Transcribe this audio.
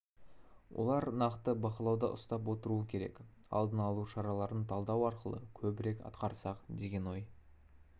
олар нақты бақылауда ұстап отыруы керек алдын алу шараларын талдау арқылы көбірек атқарсақ деген ой